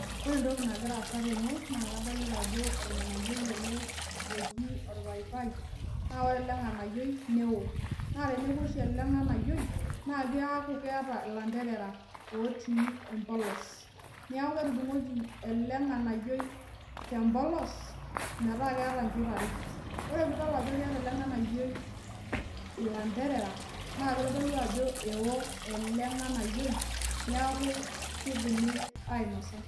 Ore entoki nagira aasa ten naa kadolita ajo irganayioi ele oji orpaipai. Naa ore ele nganayioi neo. Naa teneku oshi ele nganayioi naa keaku keeta ilanterera otii empolos. Niaku ketudungoki ele nganayioi tempolos metaa keeta inchot are. Ore peyie idol ele nganayioi ilabdereranaa keitodolu ajo ewo ele nganayioi neaku keidimi ainosa